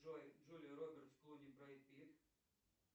джой джулия робертс клуни брэд питт